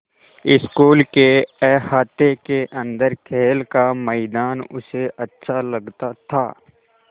school के अहाते के अन्दर खेल का मैदान उसे अच्छा लगता था